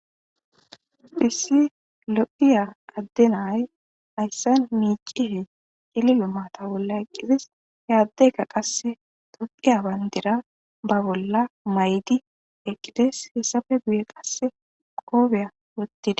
phissi loqiya adde nay hayssan miicie yelilo maata bolla eqqisis hey addeka qasse toqiya bayndira ba bolla maydi eqqides hessafe buye qasse qoobeya wottida